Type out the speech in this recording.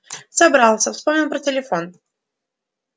собрался вспомнил про телефон